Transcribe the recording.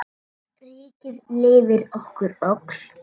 Ríkið lifir okkur öll.